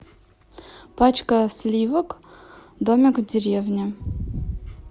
пачка сливок домик в деревне